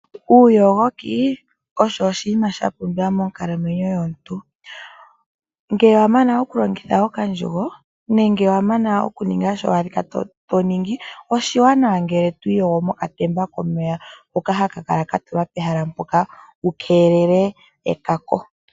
Uuyogoki osho oshinima sha pumbiwa monkalamwenyo yomuntu. Ngele wa mana okulongitha okandjugo nenge wa mana okuninga shono wa li to ningi oshiwanawa opo ngele to iyogo mokatemba komeya hoka haka kala ka tulwa pehala mpoka wu keelele oongaga.